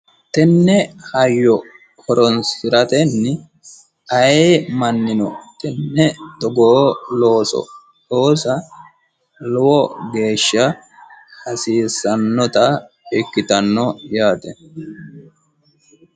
tenne hayyo horonsiratenni aayi mannino tenne togoo looso loosa lowo geeshsha hasiissanota ikkitanno yaate